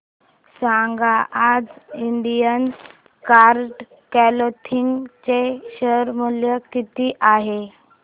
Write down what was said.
सांगा आज Indian card clothing चे शेअर मूल्य किती आहे